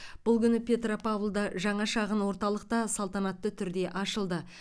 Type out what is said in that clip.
бұл күні петропавлда жаңа шағын орталық та салтанатты түрде ашылды